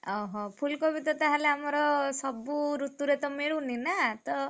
ଓହୋ ଫୁଲକୋବି ତ ତାହେଲେ ଆମର ସବୁ ଋତୁରେ ତ ମିଳୁନିନାତ।